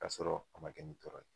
K'a sɔrɔ a ma kɛ nin tɔrɔ ye